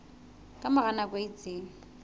ka mora nako e itseng